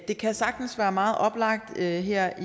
det kan sagtens være meget oplagt her her